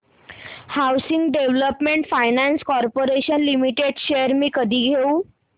housing development finance corporation limited shares मी कधी घेऊ